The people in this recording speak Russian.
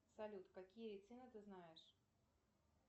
салют какие цены ты знаешь